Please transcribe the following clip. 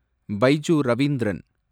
Baiju Ravindran